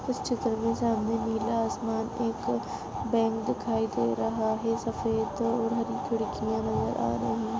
उस चित्र के सामने नीला आसमान एक बैंक दिखाई दे रहा है सफेद और हरी खिड़कियां नजर आ रही है।